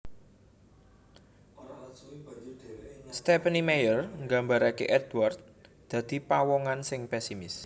Stephenie Meyer nggambarké Édward dadi pawongan sing pesimis